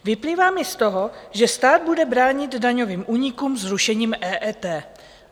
Vyplývá mi z toho, že stát bude bránit daňovým únikům zrušením EET.